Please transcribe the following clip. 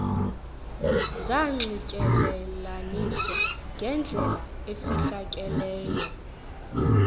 zanxityelelaniswa ngendlela efihlakeleyo